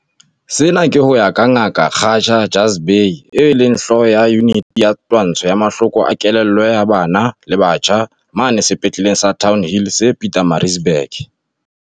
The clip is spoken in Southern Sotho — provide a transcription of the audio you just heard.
Sena ke ho ya ka Ngaka Khatija Jhazbhay, eo e leng hlooho ya Yuniti ya Twantsho ya Mahloko a Kelello ya Bana le Batjha mane Sepetleleng sa Townhill se Pietermaritzburg.